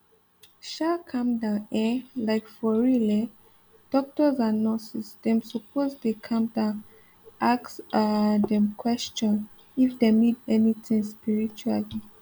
um calm down eh like for real eh doctors and nurses dem suppose dey calm down ask um dem question if dem need anything spiritually